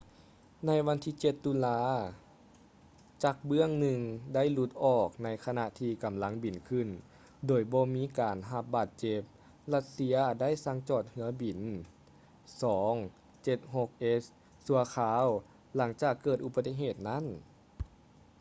ໃນວັນທີ 7 ຕຸລາ ຈັກເບື້ອງໜຶ່ງໄດ້ຫຼຸດອອກໃນຂະນະທີ່ກຳລັງບິນຂຶ້ນ ໂດຍບໍ່ມີການໄດ້ຮັບບາດເຈັບ ລັດເຊຍ ໄດ້ສັ່ງຈອດເຮືອບິນ il-76s ຊົ່ວຄາວ ຫຼັງຈາກເກີດອຸປະຕິເຫດນັ້ນ